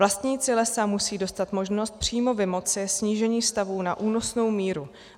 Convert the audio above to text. Vlastníci lesa musejí dostat možnost přímo vymoci snížení stavů na únosnou míru.